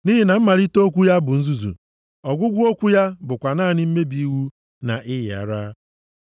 Nʼihi na mmalite okwu ya bụ nzuzu, ọgwụgwụ okwu ya bụkwa naanị mmebi iwu na ịyị ara.